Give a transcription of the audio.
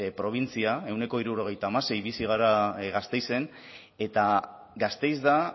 probintzia ehuneko hirurogeita hamasei bizi gara gasteizen eta gasteiz da